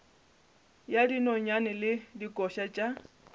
ya dinonyane le dikoša tša